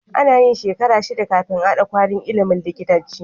Anayin shekara shida kafin a hada kwalin ilimin likitanci